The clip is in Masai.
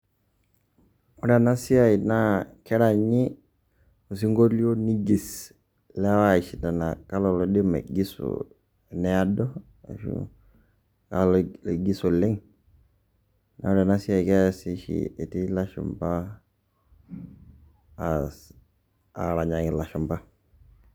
Ore ena siai naa keranyi osing'olio nigis ilewa iashindana ajo kalo laidim aigiso, needo ashu kalo laigis oleng', naa ore ena siai keasi oshi etii ilashumba aas aranyaki ilashumba.